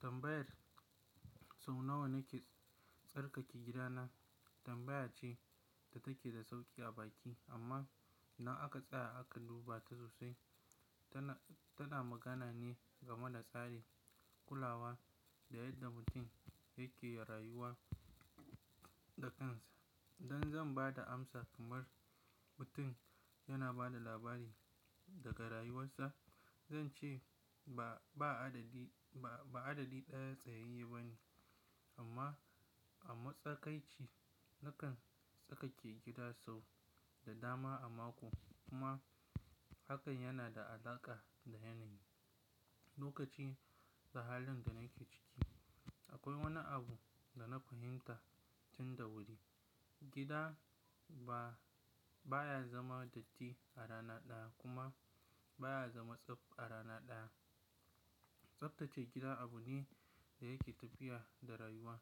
Tambayar "sau nawa nake tsarkake gidana?" tambaya ce da take da sauƙi a baki. Amma na aka: tsaya aka duba ta sosai. Tana, tana magana ne game da tsari, kulawa da yadda mutum yake rayuwa da kansa. Idan zan ba da amsa kamar mutum yana ba da labari daga rayuwarsa, zan ce ba, ba adadi, ba adadi ɗaya tsayayye ba ne. Amma a matsakaici, nakan tsarkake gida sau da dama a mako kuma hakan yana da alaƙa da yanayi, lokaci da halin da nake ciki. Akwai wani abu da na fahimta tun da wuri. Gida ba baya zama datti a rana ɗaya kuma baya zama tsaf a rana ɗaya. Tsaftace gida abu ne da yake tafiya da rayuwa.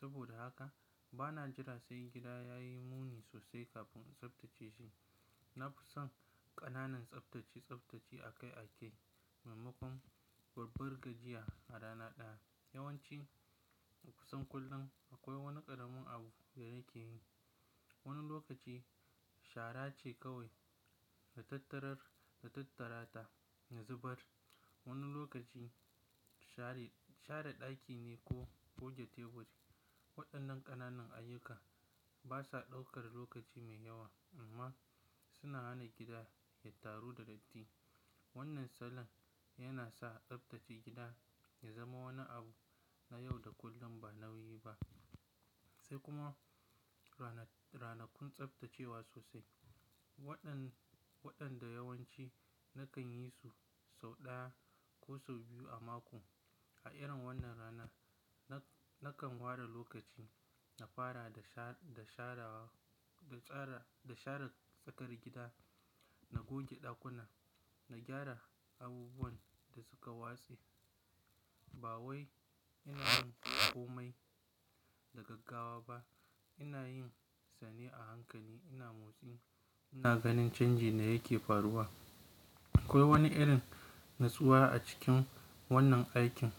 Saboda haka bana jira sai gida ya yi muni sosai kafin in tsaftace shi. Na fi son ƙananan tsaftace tsaftace a kai a kai maimakon babbar gajiya a rana ɗaya. Yawan ci kusan kullum akwai wani ƙaramin abu da nake yi. Wani lokaci shara ce kawai, da tattarar, da tattara ta, da zubar. Wani lokaci share, share ɗaki ne ko goge teburi. Waɗannan ƙananan ayyuka basa ɗaukar lokaci mai yawa amma suna hana gida ya taru da datti. Wannan salon yana sa tsaftace gida ya zama wani abu na yau da kullum ba nauyi ba. Sai kuma ranakun tsaftacewa sosai. Wannan waɗanda yawanci nakan yi su sau ɗaya ko sau biyu a mako. A irin wannan rana na, nakan ware lokaci na fara da sha, da sharewa, da tsara, da share tsakar gida, na goge ɗakuna, na gyara abubuwan da suka watse. Ba wai ina yin komai da gaggawa ba. Ina yinsa ne a hankali. Ina motsi, ina ganin canji da yake faruwa. Akwai wani irin natsuwa a cikin wannan aikin.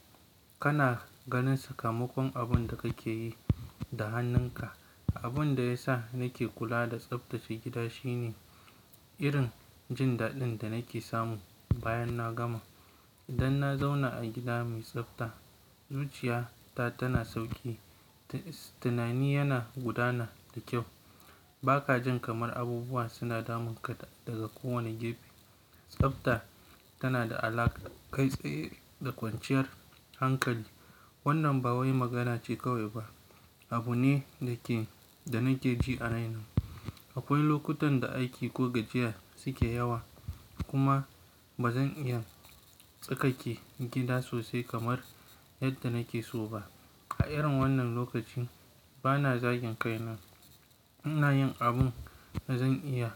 Kana ganin sakamakon abun da kake yi da hannunka. Abun da ya sa nake kula da tsaftace gida shine irin jin daɗin da nake samu bayan na gama. Idan na zauna a gida mai tsafta, zuciya ta tana sauƙi. Tunani yana gudana da kyau. Bakajin kamar abubuwa suna damun ka daga kowane gefe. Tsafta tana da alaƙa kai tsaye da kwanciyar hankali. Wannan ba wai magana ce kawai ba, abu ne da ke, da nake ji a raina. Akwai lokutan da aiki ko gajiya suke yawa kuma bazan iya tsarkake gida sosai kamar yadda nake so ba. A irin wannan lokaci bana zagin kaina. Ina yin abin da zan iya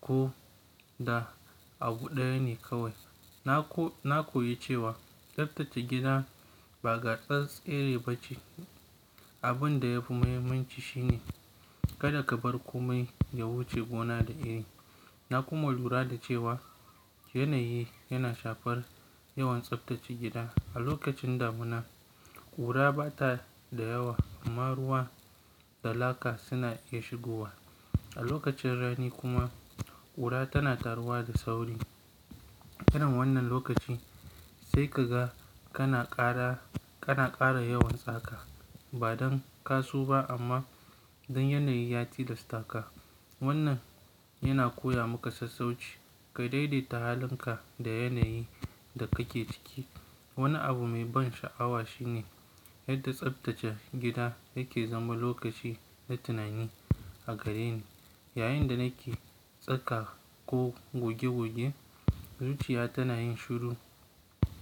ko da abu ɗaya ne kawai. Na ko, na koyi cewa tsaftace gida ba gasar tsere ba ce. Abin da ya fi muhimmanci shine kada ka bar komai ya wuce gona da iri. Na kuma lura da cewa yanayi yana shafar yawan tsaftace gida. A lokacin damuna, ƙura bata da yawa amma ruwa da laka suna iya shigowa. A lokacin rani kuma ƙura tana taruwa da sauri. Irin wannan lokaci sai ka ga kana ƙara, kana ƙara yawan tsaka ba don ka so ba amma don yanayi ya tilasta ka. Wannan yana koya maka sassauci, ka daidaita halinka da yanayin da kake ciki. Wani abu mai ban sha'awa shine yadda tsaftace gida yake zama lokaci na tunani a gareni. Yayinda nake tsaka ko goge goge zuciya tana yin shiru.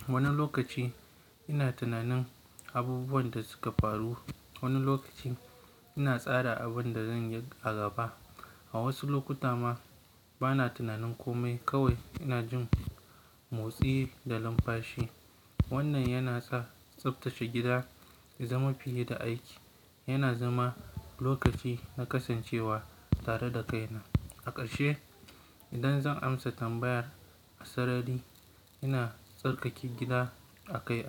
Wani lokaci ina tunanin abubuwan da suka faru. Wani lokaci ina tsara abin da zan yi a gaba. A wasu lokuta ma bana tunanin komai kawai ina jin motsi da lumfashi. Wannan yana sa tsaftace gida ya zama fiye da aiki. Yana zama lokaci na kasancewa tare da kaina. A ƙarshe idan zan amsa tambayar asarari ina tsarkake gida a kai a.